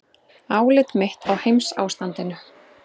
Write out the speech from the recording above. ÁLIT MITT Á HEIMSÁSTANDINU